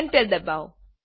enter ડબાઓ